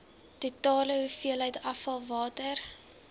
totale hoeveelheid afvalwater